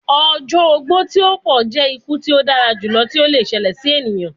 Ọjọ ogbó ti o pọn jẹ iku ti o dara julọ ti o le ṣẹlẹ si eniyan